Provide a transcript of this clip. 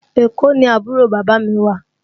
Èkó ni àbúrò bàbá mi wà